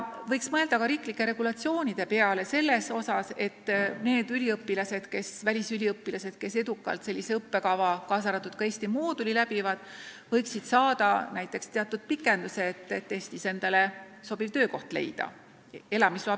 Võiks mõelda ka riiklike regulatsioonide peale, et need välisüliõpilased, kes läbivad edukalt sellise õppekava, kaasa arvatud Eesti mooduli, võiksid saada elamisloa pikenduse, et Eestis endale sobiv töökoht leida.